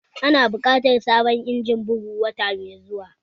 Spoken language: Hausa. Ina bukatar sabon injimin bugu wata mai zuwa